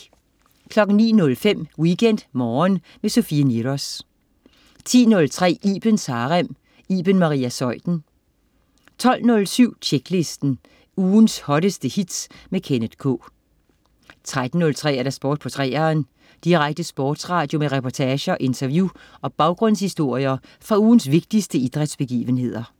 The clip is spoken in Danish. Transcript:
09.05 WeekendMorgen med Sofie Niros 10.03 Ibens Harem. Iben Maria Zeuthen 12.07 Tjeklisten. Ugens hotteste hits med Kenneth K 13.03 Sport på 3eren. Direkte sportsradio med reportager, interview og baggrundshistorier fra ugens vigtigste idrætsbegivenheder